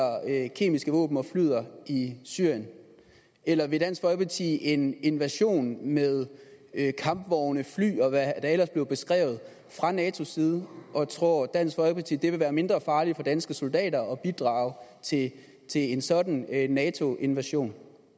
kemiske våben og flyder i syrien eller vil dansk folkeparti en invasion med kampvogne fly og hvad der ellers bliver beskrevet fra natos side og tror dansk folkeparti at det vil være mindre farligt for danske soldater at bidrage til en sådan nato invasion